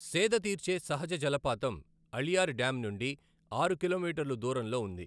సేదతీర్చే సహజ జలపాతం అళియార్ డ్యామ్ నుండి ఆరు కిలోమీటర్లు దూరంలో ఉంది.